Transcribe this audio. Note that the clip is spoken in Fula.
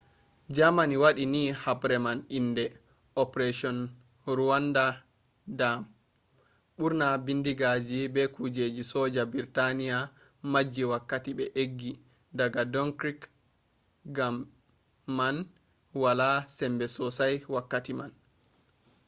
germany wadi ni habre man inde operasion rawandu dyam”. burna bindigaji be kujeji soja britania majji wakkati be eggi daga dunkirk gam man be wala sembe sosai wakkati man